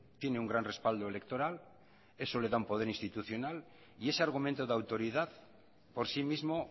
tiene un gran respaldo electoral eso le da un poder institucional y ese argumento de autoridad por sí mismo